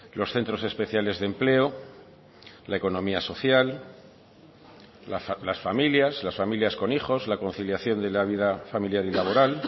los centros especiales de empleo la economía social las familias las familias con hijos la conciliación de la vida familiar y laboral